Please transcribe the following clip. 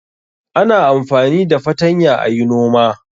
Ana amfani da fatanya a yi noma.